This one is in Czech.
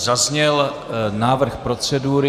Zazněl návrh procedury.